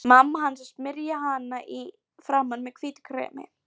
Mamma hans að smyrja hana í framan með hvítu kremi.